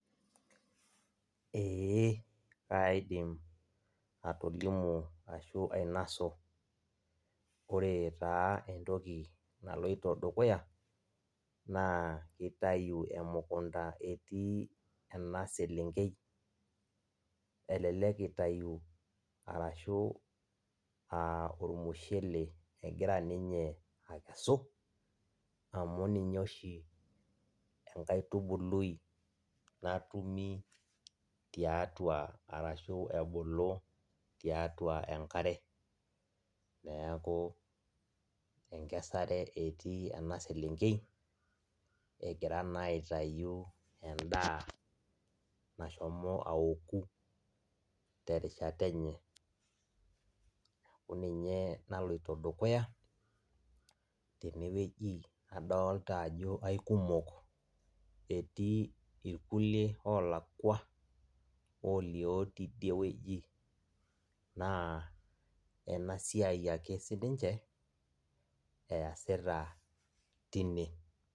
Ee kaidim atolimu ashu ainasu. Ore taa entoki naloito dukuya, naa kitayu emukunda etii ena selenkei, elelek itayu arashu ah ormushele egira ninye akesu, amu ninye oshi enkaitubului natumi tiatua arashu ebulu tiatua enkare. Neeku enkesare etii ena selenkei, egira naa aitayu endaa nashomo aoku terishata enye. Neku ninye naloito dukuya, tenewueji. Adolta ajo aikumok. Etii irkulie olakwa olio tidieweji. Naa enasiai ake sininche, eesita tine.